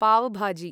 पाव् भाजी